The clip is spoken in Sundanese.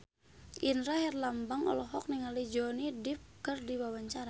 Indra Herlambang olohok ningali Johnny Depp keur diwawancara